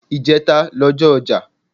Ìjẹta n ọjọ́ ọja.